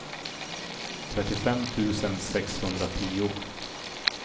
trettiofem tusen sexhundratio